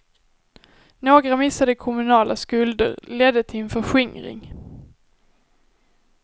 Några missade kommunala skulder ledde till en förskingring.